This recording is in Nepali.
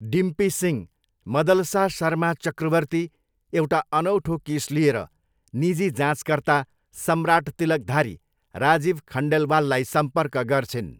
डिम्पी सिंह, मदलसा शर्मा चक्रवर्ती, एउटा अनौठो केस लिएर निजी जाँचकर्ता सम्राट तिलकधारी, राजीव खन्डेलवाललाई सम्पर्क गर्छिन्।